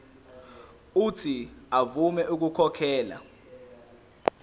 uuthi avume ukukhokhela